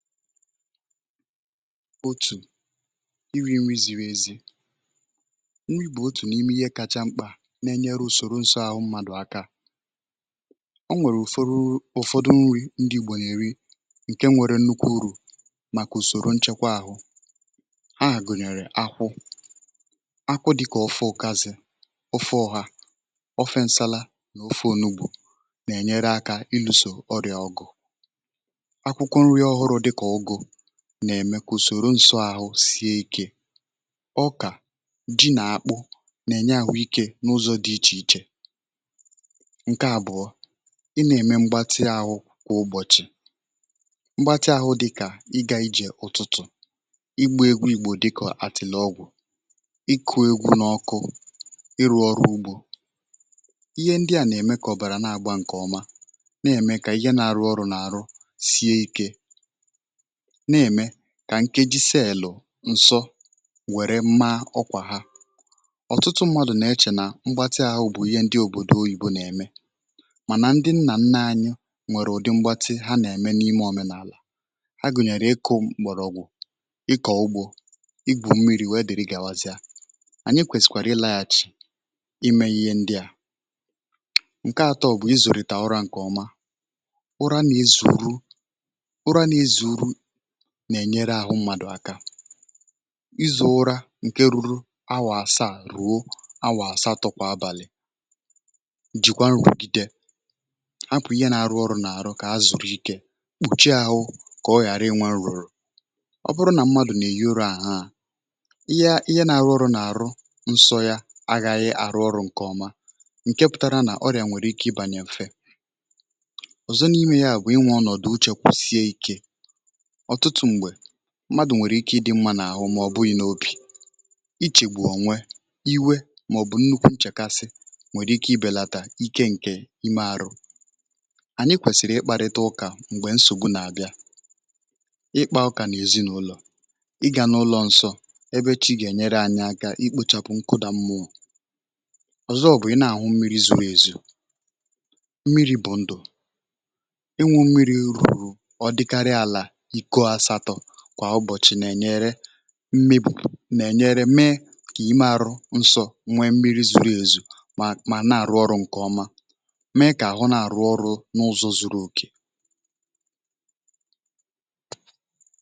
otù iri̇ nri ziri ezi, nri bụ̀ otù n’ime ihe kacha mkpà na-enyere usoro nso ahụ̀ mmadụ̀ aka, ọ bụkwa n’ihi na o nwèrè ụ̀fọdụ nri ndị gbànyèrè ǹke nwèrè nnukwu urù màkà ùsòrò nchekwa ahụ̀, ahụ̀ gụ̀nyèrè akwụ akwụ dịkà ọfụ̇ ụkazị, ọfụ̇ ọhà, ofensala n’ofè onugbù, um na-enyere akȧ ilùsò ọrịà ọgụ̀ nà-ème kà ùsòrò ǹsọ àhụ sie ikė. ọ bụkwa ọkà ji nà akpụ nà-ènye àhụ ikė n’ụzọ̇ dị̇ ichè ichè. nke àbụ̀ọ ị nà-ème mgbatị àhụ̇ kwa ụ̀bọ̀chị, um mgbatị àhụ̇ dịkà ịgȧ ijè ụ̀tụtụ̀, igbo egwu ìgbò, dịkọ̀ atịle ọgwụ̀, ịkụ̇ egwu n’ọkụ, ịrụ̇ ọrụ ugbȯ. ihe ndị à nà-ème kà ọ̀bàrà na-àgba ǹkè ọma, um na-ème kà ihe nà-arụ ọrụ̇ nà àrụ sie ikė, na-ème kà nkeji si elu̇ ǹsọ wère mma ọkwà ha. ọ̀tụtụ mmadụ̀ na-echè nà mgbatị ahụ̀ bụ̀ ihe ndị òbòdò oyìbo nà-ème, kamà um ndị nnà nna ȧnyụ̇ nwèrè ụ̀dị mgbatị ha nà-ème n’ime òmenàlà ha, gụ̀nyèrè ịkụ̇ m̀gbọ̀rọ̀gbò, ịkọ̀ ugbȯ, igbu̇ mmiri̇. wèe dị̀rị gà-àwazịa ànyị kwèsìkwàrị̀ ilȧghachị̀ imė ihe ndị à. nke atọ bụ̀ ịzùrìtà ọrȧ ǹkè ọma. ụra nà-ezuru nà-ènyere àhụ mmadụ̀ aka, um ịzụ̇ ụra ǹkè ruru awọ asa à rùo awọ asa, tụ̇kwà abàlị̀, jìkwà nrụgide, akwụ̀ ihe nà-arụ ọrụ̇ nà-arụ kà ha zùrù ikė, kpùchi àhụ kà ọ ghàra iwė nrụ̀rụ̀. ọ bụrụ nà mmadù nà-eyi urù àhụ ha ihe, ihe nȧ-ȧhụ̇ ọrụ̇ nà-àrụ nsọ yȧ aghaghị àrụ ọrụ̇ ǹkè ọma. ọ bụkwa ǹkè pụtara nà ọrịà nwèrè ike ịbànyè mfe ọ̀zọ n’ime yȧ. bụ̀ um inwe ọnọ̀dụ uchė kwụsie ikė. mmadụ̀ nwèrè ike ịdị mmȧ n’àhụ, màọ̀bụ̀ unyi n’opì, ichègbù onwe iwe, màọ̀bụ̀ nnukwu nchèkasị, nwèrè ike ibèlàtà ike ǹke ime ȧrụ̇. ànyị kwèsìrì ịkparịta ụkà m̀gbè nsògbu nà-àbịa, ịkpȧ ụkà n’èzinụlọ̀, ịgȧ n’ụlọ nsọ̇ ebe chi gà-ènyere anyị aka ikpochapụ nkụdà mmụọ. ọ̀zọ ọ̀ bụ̀ ị na-àhụ mmiri̇ zụrụ èzù. mmiri̇ bụ̀ ndụ̀, e nwu mmiri̇ rụ̀rụ mmịbù nà-ènyere, mee kà ịmẹ̇ arụ nsọ̇, nwẹ mmiri̇ zùrù èzù mà, mà nà àrụ ọrụ̇ ǹkẹ̀ ọma, mee kà àhụ nà àrụ ọrụ̇ n’ụzọ̇ zuru òkè.